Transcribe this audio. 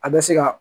A bɛ se ka